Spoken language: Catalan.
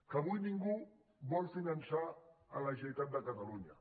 que avui ningú vol finançar la generalitat de catalunya